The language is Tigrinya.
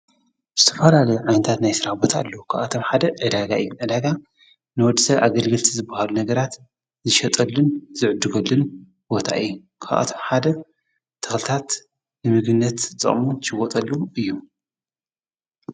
ስተፋራል ኣይንታት ናይ ሥራ ቦታ ኣሉ ኽኣቶም ሓደ ዕዳጋ ኢ ኣዳጋ ንወድሰ ኣገልግልቲ ዝብሃሉ ነገራት ዝሸጠልን ዝዕድጐልን ቦታኢ ክኣቶም ሓደ ተኽልታት ይምግነት ጸሙን ጅወጠሉ እዩ።